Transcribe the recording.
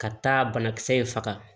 Ka taa banakisɛ in faga